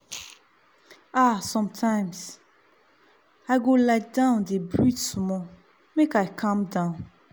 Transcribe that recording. ah sometimes i go lie down dey breathe small make i calm down.